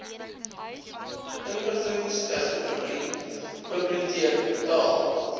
inligtingstegnologie bibioteek taal